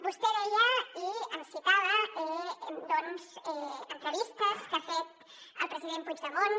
vostè em citava doncs entrevistes que ha fet el president puigdemont